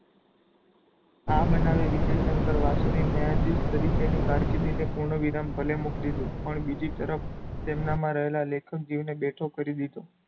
આ બનાવે વિજય શંકર વાસુને ન્યાયધીશ તરીકેની કારકિર્દીને પૂર્ણવિરામ ભલે મૂકી દીધો પણ બીજી તરફ તેમનામાં રહેલાં લેખન જીવ ને બેઠો કરી દીધો.